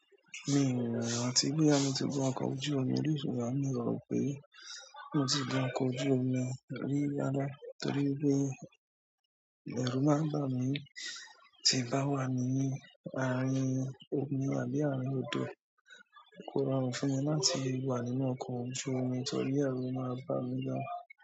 Mi o rántí, boya mi ti gun ọkọ̀ ojú omi orí ṣùgbọ́n mi ọ ro pé mo ti gun ọkọ̀ ojú omi rí rarà nítorí pé ẹrù máa ń bá mi ti n bá wà ní àárín omi àbí àárín odò kò rọrùn fún mi láti wà nínú ọkọ ojú omi torí ẹrù máa bá mi gàn.